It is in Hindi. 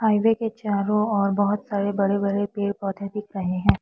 हाइवे के चारों ओर बहोत सारे बड़े बड़े पेड़ पौधे दिख रहे है।